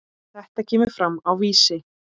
Þetta kemur fram á Vísi.